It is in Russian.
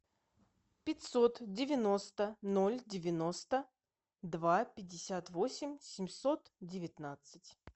пятьсот девяносто ноль девяносто два пятьдесят восемь семьсот девятнадцать